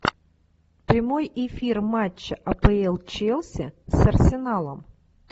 прямой эфир матча апл челси с арсеналом